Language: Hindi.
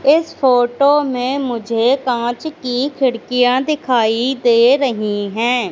इस फोटो में मुझे कांच की खिड़कियां दिखाई दे रही है।